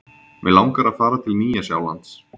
Mig langar að fara til Nýja-Sjálands.